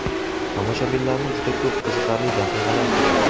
Tomoshabinlarni juda ko‘p qiziqarli daqiqalar kutmoqda.